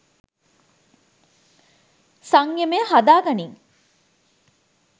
සංයමය හදා ගනිං